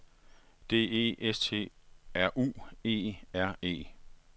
D E S T R U E R E